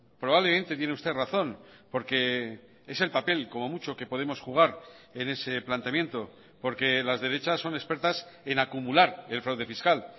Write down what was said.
probablemente tiene usted razón porque es el papel como mucho que podemos jugar en ese planteamiento porque las derechas son expertas en acumular el fraude fiscal